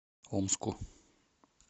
омску